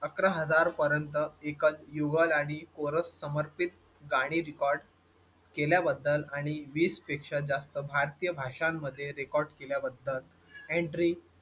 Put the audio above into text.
अकरा हजार पर्यंत एकच युगल आणि chorus समर्पित गाणी record केल्या बद्दल आणि वीस पेक्षा जास्त भारतीय भाषांमध्ये record केल्या बद्दल entry